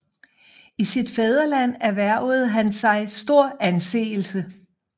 I sit ny fædreland erhvervede han sig stor anseelse